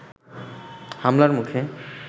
হামলার মুখে